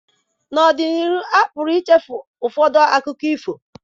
N'ọdịnihu, a pụrụ ichefu ụfọdụ akụkọ ifo